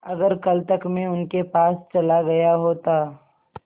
अगर कल तक में उनके पास चला गया होता